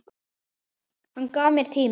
Hann gaf mér tíma.